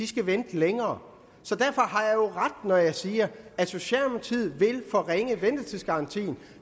skal vente længere så derfor har jeg jo ret når jeg siger at socialdemokratiet vil forringe ventetidsgarantien